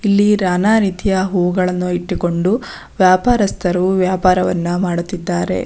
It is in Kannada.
ಇಲ್ಲಿ ನಾನಾ ರೀತಿಯ ಹೂವುಗಳನ್ನು ಇಟ್ಟುಕೊಂಡು ವ್ಯಾಪಾರಸ್ಥರು ವ್ಯಾಪಾರಗಳನ್ನು ಮಾಡುತ್ತಿದ್ದಾರೆ.